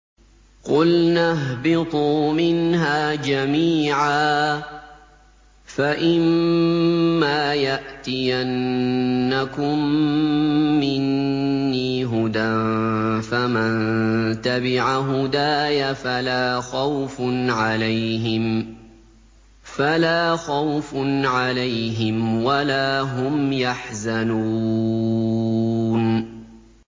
قُلْنَا اهْبِطُوا مِنْهَا جَمِيعًا ۖ فَإِمَّا يَأْتِيَنَّكُم مِّنِّي هُدًى فَمَن تَبِعَ هُدَايَ فَلَا خَوْفٌ عَلَيْهِمْ وَلَا هُمْ يَحْزَنُونَ